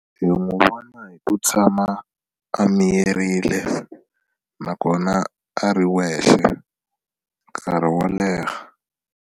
Hi n'wi vona hi ku tshama a miyerile nakona a ri wexe nkarhi wo leha.